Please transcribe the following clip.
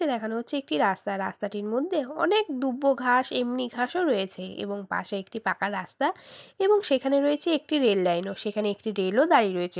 দেখানো হচ্ছে একটি রাস্তা রাস্তাটির মধ্যে অনেক দুব্বো ঘাস এমনি ঘাসও রয়েছে এবং পাশে একটি পাকা রাস্তা এবং সেখানে রয়েছে একটি রেল লাইন ও। সেখানে একটি রেল ও দাঁড়িয়ে রয়েছে।